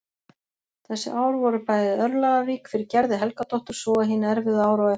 Þessi ár voru æði örlagarík fyrir Gerði Helgadóttur svo og hin erfiðu ár á eftir.